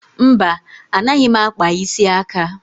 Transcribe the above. Mba, anaghị m akpa isi aka